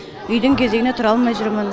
үйдің кезегіне тұра алмай жүрмін